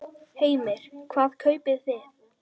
Heimir: Hvað kaupið þið?